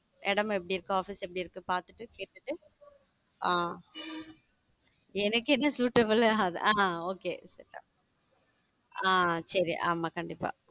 இடம் எப்படி இருக்கு office எப்படி இருக்கு பாத்துட்டு கேட்டு ஹம் எனக்கு என்ன suitable ஆகாது ஹம் okay ஆஹ் ச்செரி ஆமா கண்டிப்பா